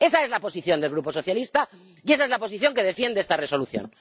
Esa es la posición del Grupo Socialista y esa es la posición que defiende esta Resolución.